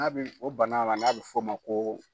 N'a bɛ o bana ma, n'a bɛ f'o ma ko.